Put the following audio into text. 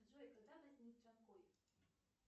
джой когда возник джанкой